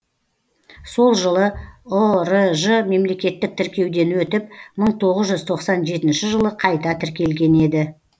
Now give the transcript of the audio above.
сол жылы ұрж мемлекеттік тіркеуден өтіп мың тоғыз жүз тоқсан жетінші жылы қайта тіркелген еді